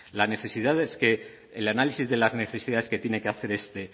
las necesidades que el análisis de las necesidades que tiene que hacer este